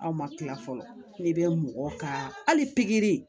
Aw ma kila fɔlɔ ne bɛ mɔgɔ ka hali pikiri